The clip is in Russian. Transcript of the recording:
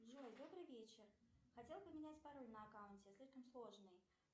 джой добрый вечер хотела поменять пароль на аккаунте слишком сложный